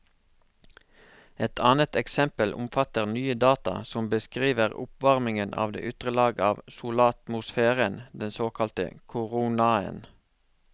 Et annet eksempel omfatter nye data som beskriver oppvarmingen av de ytre lag av solatmosfæren, den såkalte koronaen.